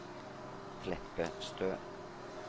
Kleppestø